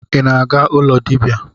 I na-aga ụlọ dibia?